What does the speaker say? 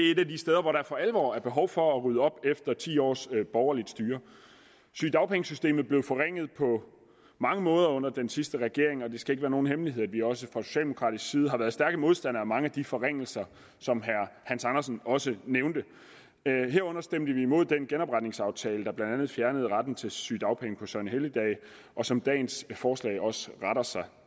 steder hvor der for alvor er behov for at rydde op efter ti års borgerligt styre sygedagpengesystemet blev forringet på mange måder under den sidste regering og det skal ikke være nogen hemmelighed at vi også fra socialdemokratisk side har været stærke modstandere af mange af de forringelser som herre hans andersen også nævnte herunder stemte vi imod den genopretningsaftale der blandt andet fjernede retten til sygedagpenge på søgnehelligdage og som dagens forslag også retter sig